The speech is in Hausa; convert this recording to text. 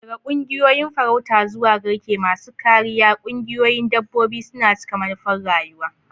Daga ƙungiyoyin farauta zuwa garke masu kariya, ƙungiyoyin dabbobi suna cika manufar rayuwa.